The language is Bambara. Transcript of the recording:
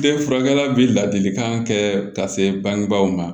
Den furakɛra bi ladilikan kɛ ka se bangebaaw ma